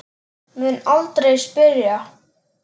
Mun aldrei spyrja.